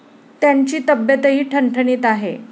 त्यांची तब्येतही ठणठणीत आहे.